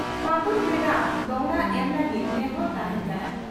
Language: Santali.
ᱯᱷᱟᱹᱜᱩᱱ ᱵᱷᱮᱫᱟ ᱫᱚᱦᱲᱟ ᱮᱢ ᱞᱟᱹᱜᱤᱫ ᱱᱮᱦᱚᱨ ᱛᱟᱦᱮᱸᱱ ᱠᱟᱱᱟ